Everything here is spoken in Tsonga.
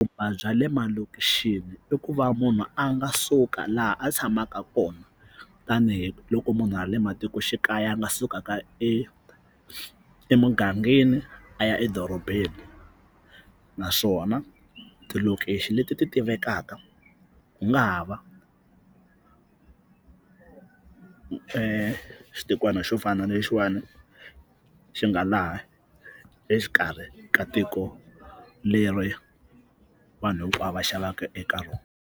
Vupfhumba bya le malokixini i ku va munhu a nga suka laha a tshamaka kona tanihiloko munhu a le matikoxikaya a nga sukaka e emugangeni a ya edorobeni naswona tilokixi leti ti tivekaka ku nga ha va xitikwana xo fana na lexiwani xi nga laha exikarhi ka tiko leri vanhu hinkwavo va xavaka eka rona.